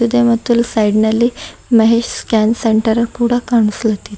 ಇದೆ ಮತ್ತು ಇಲ್ ಸೈಡ್ನ ಲ್ಲಿ ಮಹೇಶ್ ಸ್ಕ್ಯಾನ್ ಸೆಂಟರ್ ಕೂಡ ಕಾಣ್ಸ್ಲತ್ತಿದೆ.